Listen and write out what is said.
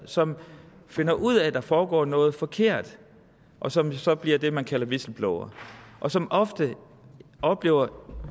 som finder ud af at der foregår noget forkert og som så bliver det man kalder whistleblower og som oftest oplever de